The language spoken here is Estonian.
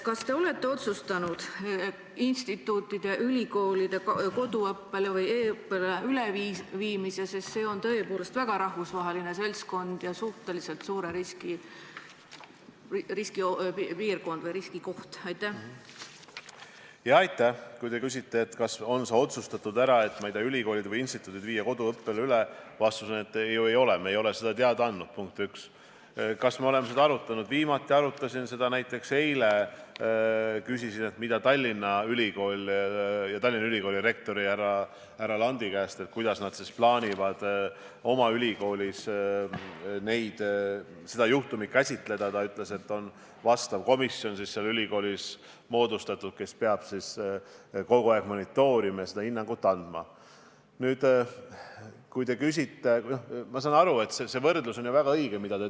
Kas te olete otsustanud instituutide ja ülikoolide koduõppele või e-õppele üleviimise?